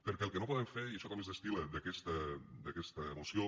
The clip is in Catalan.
perquè el que no podem fer i això també es destil·la d’aquesta moció